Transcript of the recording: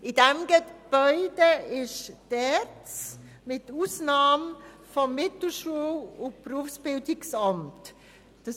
In dem Gebäude befindet sich die ERZ mit Ausnahme des Mittelschul- und Berufsbildungsamts (MBA).